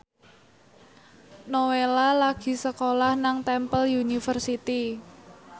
Nowela lagi sekolah nang Temple University